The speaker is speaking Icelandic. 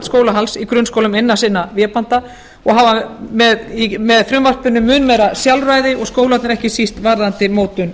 skólahalds í grunnskólum innan sinna vébanda og hafa með frumvarpinu mun meira sjálfræði og skólarnir ekki síst varðandi mótun